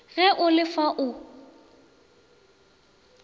ge o le fa o